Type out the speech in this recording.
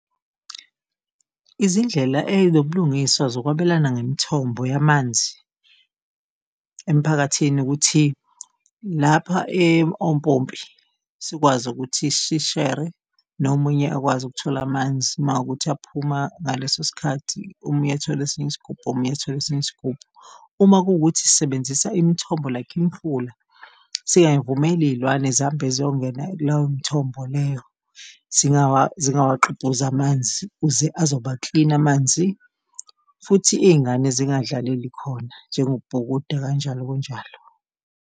Izindlela ezinobulungiswa zokwabelana ngemithombo yamanzi emphakathini ukuthi lapha ompompi sikwazi ukuthi sishere nomunye akwazi ukuthola amanzi uma kuwukuthi aphuma ngaleso sikhathi, omunye athole esinye isigubhu, omunye athola esinye isigubhu. Uma kuwukuthi sisebenzisa imithombo like imifula, siyayivumela iy'lwane zihambe ziyongena kulewo mthombo leyo zingakwagqubhuzi amanzi, kuze azoba-clean amanzi, futhi iy'ngane zingadlaleli khona njengokubhukuda, kanjalo kanjalo.